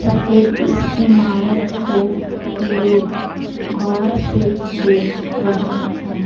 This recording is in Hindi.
सफेद इस इमारत को लोग गौर से देख रहे हैं।